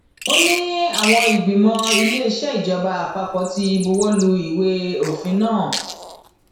ó ní àwọn ìgbìmọ iléeṣẹ ìjọba àpapọ ti buwọ lu ìwé òfin náà